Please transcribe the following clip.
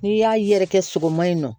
N'i y'a yɛrɛkɛ sogoma in na